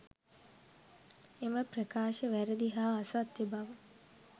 එම ප්‍රකාශ වැරැදි හා අසත්‍ය බව